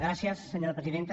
gràcies senyora presidenta